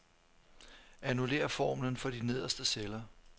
Annullér formlen for de nederste celler.